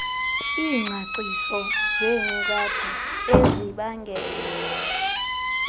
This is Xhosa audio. iingcaciso zeenkcukacha ezibangela